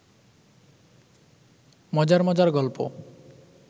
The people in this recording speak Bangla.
মজার মজার গল্প